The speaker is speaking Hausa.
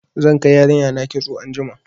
Zan kai yarinya na kitso anjima.